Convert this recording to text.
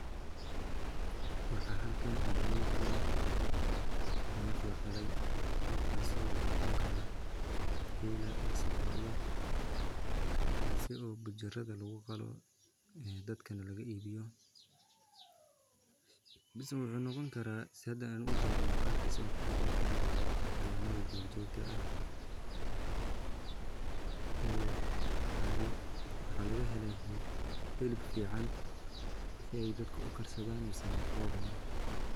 Waxa halkan igamuqda neef laqalayo nefkaso wuxu noqoni kara gela ama lo'da kaasi oo bujirada kuguqalo dadkana lagaibiyo mise wuxu noqni kara sida ujedo muqalkisa wuxu noqoni kara xawayanada durjogta ah oo waxa lagahela hilib fican so ey dadka ukarsadan misana locuno.